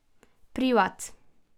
Privat.